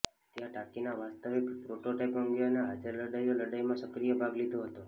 ત્યાં ટાંકીના વાસ્તવિક પ્રોટોટાઇપ અંગે અને હાજર લડાઈઓ લડાઈ માં સક્રિય ભાગ લીધો હતો